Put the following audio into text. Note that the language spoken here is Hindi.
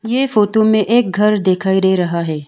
ये फोटो में एक घर दिखाई दे रहा है।